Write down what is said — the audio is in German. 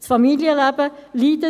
Das Familienleben leidet.